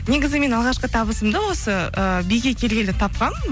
негізі мен алғашқы табысымды осы ы биге келгелі тапқанмын